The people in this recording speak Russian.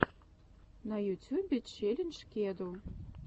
на ютюбе челлендж кеду